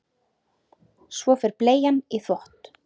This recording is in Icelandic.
Svo fer bleian í þvott.